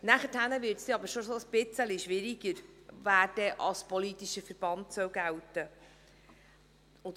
Danach wird es schon etwas schwieriger zu sagen, wer als politischer Verband gelten soll.